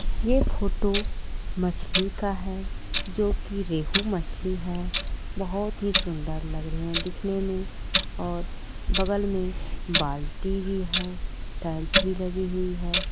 यह फोटो मछली का है जो की रेहू मछली है बहुत ही सुंदर लग रहे है दिखने मे और बगल मे बाल्टी भी है टाइल्स भी लगी हुई है।